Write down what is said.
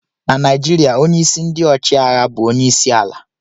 Na naijiriya ọnye isi ndi ọchiagha bu ọnye isi ala..